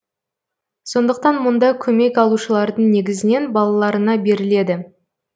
сондықтан мұнда көмек алушылардың негізінен балаларына беріледі